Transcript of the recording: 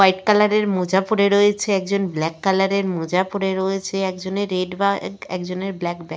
White colour -এর মোজা পরে রয়েছে একজন ব্ল্যাক কালার -এর মোজা পরে রয়েছে একজনের রেড বা এক একজনের ব্ল্যাক ব্যাগ ।